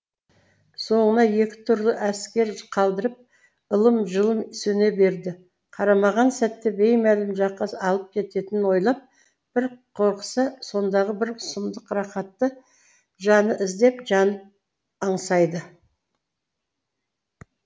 соңына екі түрлі әсер қалдырып ылым жылым сөне береді қармаған сәтте беймәлім жаққа алып кететінін ойлап бір қорықса сондағы бір сұмдық рақатты жаны іздеп жанып аңсайды